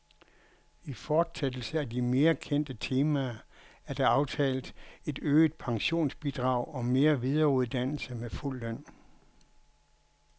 I fortsættelse af de mere kendte temaer er der aftalt et øget pensionsbidrag og mere videreuddannelse med fuld løn.